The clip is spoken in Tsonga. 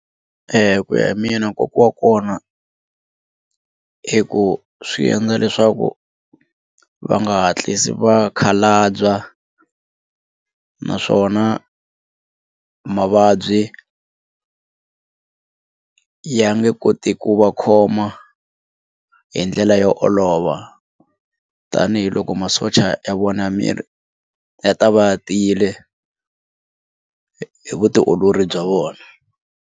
Ku ya hi mina nkoka wa kona i ku swi endla leswaku va nga hatlisi va khalabya naswona mavabyi ya nge koti ku va khoma hi ndlela yo olova tanihiloko masocha ya vona ya miri ya ta va ya tiyile hi vutiolori bya vona.